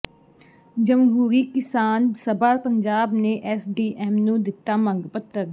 ਜਮਹੂਰੀ ਕਿਸਾਨ ਸਭਾ ਪੰਜਾਬ ਨੇ ਐੱਸਡੀਐੱਮ ਨੂੰ ਦਿੱਤਾ ਮੰਗ ਪੱਤਰ